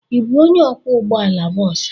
Ị bụ onye ọkwọ ụgbọ ala bọs a?